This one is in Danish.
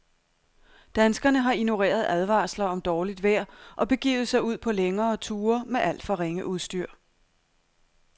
Danskerne har ignoreret advarsler om dårligt vejr og begivet sig ud på længere ture med alt for ringe udstyr.